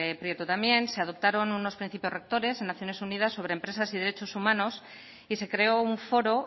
prieto también se adoptaron unos principios rectores en naciones unidas sobre empresas y derechos humanos y se creó un foro